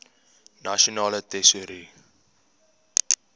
nasionale tesourie